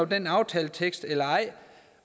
den aftaletekst eller ej